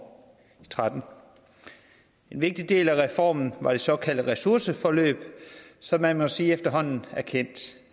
tretten en vigtig del af reformen var det såkaldte ressourceforløb som man må sige efterhånden er kendt